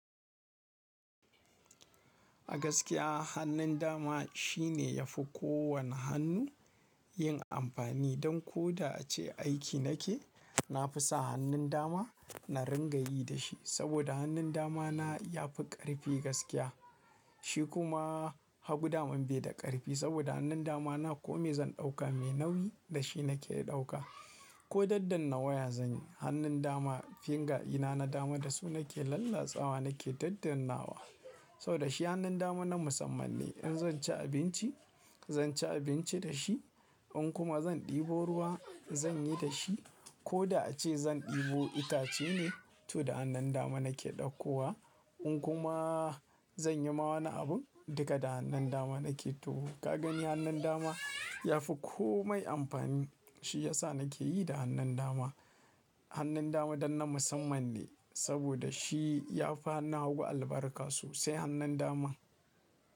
Gaskiya hannun dama shine yafi kowane hannu yin amfani. Don ko da ace aiki nake, na fi sa hannun dama na ringa yi da shi. Saboda hannun dama na ya fi ƙarfi gaskiya. Shi kuma hagu daman bai da ƙarfi. Saboda hannun dama na ko me zan ɗauka me nauyi da shi nake ɗauka, ko daddanna waya zan yi, hannun dama finger dina na dama da su nake lallatsawa nake daddannawa. Saboda shi hannun dama na musamman ne. In zan ci abinci, zan ci abinci da shi. In kuma zan ɗebo ruwa, zan yi da shi. Ko da a ce zan ɗebo itace ne, to da hannun dama nake ɗauko wa. In kuma zan yi ma wani abun, duka da hannun dama nake, to, ka gani hannun dama yafi komai amfani. Shi ya sa nake yi da hannun dama. Hannun dama don na musamman ne saboda shi ya fi hannuna hagu albarka sosai hannun dama.